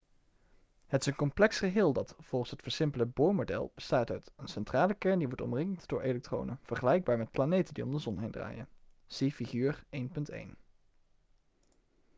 het is een complex geheel dat volgens het versimpelde bohr-model bestaat uit een centrale kern die wordt omringt door elektronen vergelijkbaar met planeten die om de zon heen draaien zie figuur 1.1